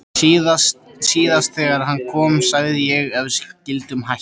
Síðast þegar hann kom sagði ég að við skyldum hætta.